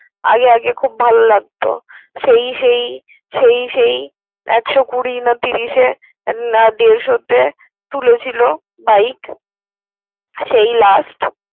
আগে আগে খুব ভালো লাগত সেই সেই সেই সেই একশত কুরি না ত্রিশ এ না দেড়শ তে তুলেছিল বাইক সেই লাস্ট।